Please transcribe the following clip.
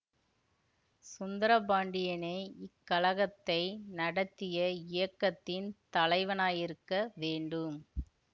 சுந்தரபாண்டியனே இக்கலகத்தை நடத்திய இயக்கத்தின் தலைவனாயிருக்க வேண்டும்